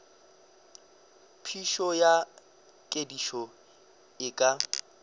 phišo ya kedišo e ka